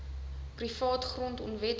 privaat grond onwettig